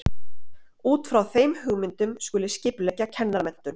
Út frá þeim hugmyndum skuli skipuleggja kennaramenntun.